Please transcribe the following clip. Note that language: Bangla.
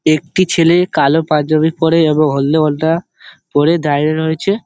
একটি ছেলে কালো পাঞ্জাবি পরে এবং হলদে ওড়না পরে দাঁড়িয়ে রয়েছে।